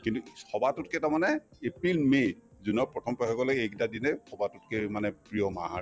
কিন্তু সবাতোতকে তাৰমানে april, may, june ৰ প্ৰথম পষেকলৈ সেইকেইটা দিনে সবাতোতকে মানে প্ৰিয় মাহ আৰু